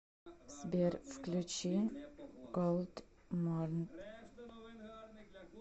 сбер включи голдманд